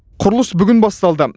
құрылыс бүгін басталды